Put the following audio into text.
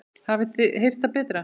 Hafið þið heyrt það betra?